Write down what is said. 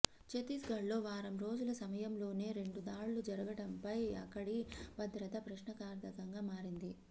ఛత్తీస్గడ్లో వారం రోజుల సమయంలోనే రెండు దాడులు జరగడంపై అక్కడి భద్రత ప్రశ్నార్థకంగా మారింది